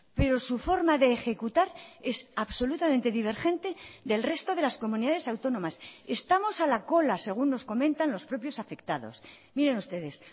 pero su forma de ejecutar es absolutamente divergente del resto de las comunidades autónomas estamos a la cola según nos comentan los propios afectados miren ustedes